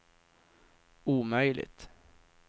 omöjligt